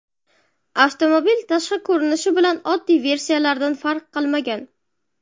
Avtomobil tashqi ko‘rinishi bilan oddiy versiyalardan farq qilmagan.